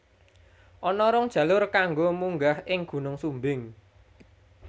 Ana rong jalur kanggo munggah ing Gunung Sumbing